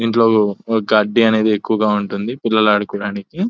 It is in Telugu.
ఇంట్లో గడ్డి అనేది ఎక్కువగా ఉంటుంది పిల్లలు ఆడుకోవడానికి.